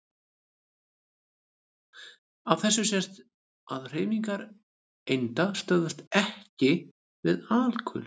Af þessu sést að hreyfingar einda stöðvast EKKI við alkul.